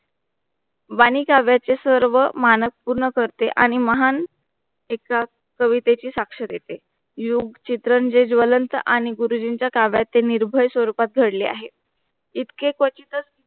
वाणी काव्याचे सर्व मानकपूर्ण करते आणि महान एका कवितेची साक्ष देते युग चित्रण चे ज्वलंत आणि गुरुजींचे काव्याचं निर्भय स्वरूपात घडले आहे. इतके क्वचितच